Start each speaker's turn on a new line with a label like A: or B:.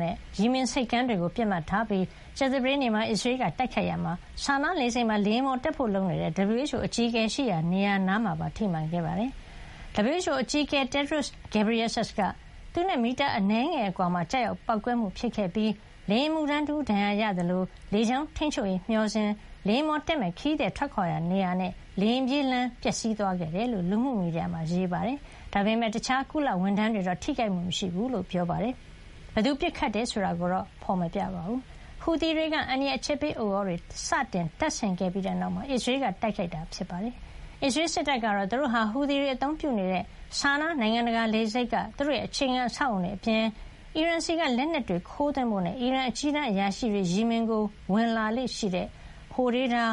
A: နဲ့ ယီမင်ဆိပ်ကမ်း တွေကို ပစ်မှတ်ထားပြီး ကြာသပတေးနေ့မှာ အစ္စရေးက တိုက်ခိုက်ခဲ့ရာမှာ ဆာနားလေဆိပ်မှာ လေယာဉ်ပေါ်တက်ဖို့ လုပ်နေတဲ့ WHO အကြီးအကဲရှိရာ နေရာနား မှာပါ ထိမှန်ခဲ့ပါတယ်။ WHO အကြီးအကဲ Tedros Adhanom Ghebreyesus က သူနဲ့ မီတာအနည်းငယ် အကွာမှာ ကျရောက်ပေါက်ကွဲမှု ဖြစ်ခဲ့ပြီး လေယာဉ် အမှုထမ်းတဦး ဒဏ်ရာရခဲ့သလို၊ လေကြောင်း ထိန်းချုပ်ရေး မျှော်စင်၊ လေယာဉ်ပေါ်တက်မယ့် ခရီးသည် ထွက်ခွါရာနေရာနဲ့ လေယာဉ်ပြေးလမ်း ပျက်စီးသွားခဲ့တယ်လို့ လူမှုမီဒီယာ X မှာ ရေးပါတယ်။ ဒါပေမယ့် တခြား ကုလဝန်ထမ်းတွေတော့ ထိခိုက်မှု မရှိဘူးလို့ ပြောပါတယ်။ ဘယ်သူက ပစ်ခတ်တယ်ဆိုတာကိုတော့ ဖေါ်ပြ မထားပါဘူး။ ဟူသီတွေက အန္တရာယ် အချက်ပေးဥသြ တွေ စတင်တပ်ဆင်ခဲ့ပြီးတဲ့နောက်မှာ အစ္စရေးက တိုက်ခိုက်ခဲ့တာ ဖြစ်ပါတယ်။ အစ္စရေးစစ်တပ်ကတော့ သူတို့ဟာ ဟူသီတွေ အသုံးပြုနေတဲ့ ဆာနား နိုင်ငံတကာ လေဆိပ်က သူတို့ရဲ့ အခြေခံ အဆောက်အအုံတွေအပြင်၊ အီရန်ဆီက လက်နက်တွေ ခိုးသွင်းဖို့နဲ့ အီရန်အကြီးတန်းအရာရှိတွေ ယီမင်ကို ဝင်လာ လေ့ရှိတဲ့ ဟိုဒေးဒါ